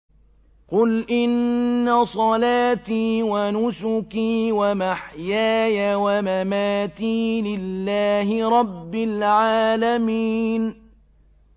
قُلْ إِنَّ صَلَاتِي وَنُسُكِي وَمَحْيَايَ وَمَمَاتِي لِلَّهِ رَبِّ الْعَالَمِينَ